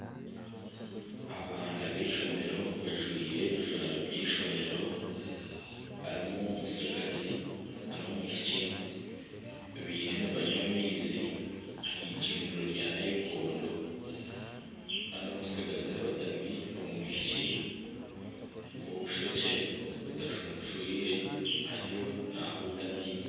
Abaana b'eishomero bajwaire ebijwaro by'eishomero, harimu omutsigazi nana omwishiki. Bariyo nibanywa amaizi aha eicundiro rya naikondo. Kandi omutsigazi arotami, omwishiki w'obushokye butashunshwire ariyo nahuuta amaizi.